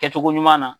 Kɛcogo ɲuman na